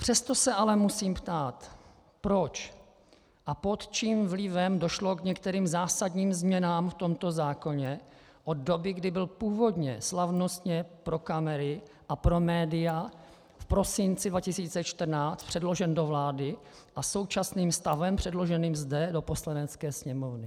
Přesto se ale musím ptát, proč a pod čím vlivem došlo k některým zásadním změnám v tomto zákoně od doby, kdy byl původně slavnostně pro kamery a pro média v prosinci 2014 předložen do vlády, a současným stavem předloženým zde do Poslanecké sněmovny.